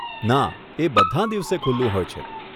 ના, એ બધાં દિવસે ખુલ્લું હોય છે.